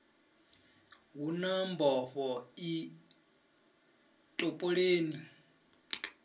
hu na mbofho i topoleni